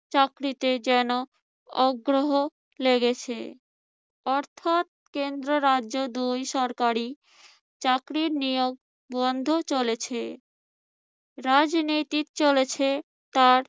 চাকরিতে যেন অগ্রহ লেগেছে। অর্থাৎ কেন্দ্র রাজ্য দুই সরকারই চাকরির নিয়োগ বন্ধ চলেছে। রাজনীতি চলেছে তার